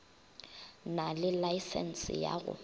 na le laesense ya go